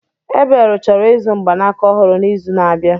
Ebel chọrọ ịzụ mgbanaka ọhụrụ n'izu na-abịa.